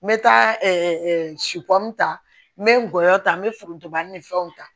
N bɛ taa ta n bɛ ngɔyɔ ta n bɛ forontoba ni fɛnw ta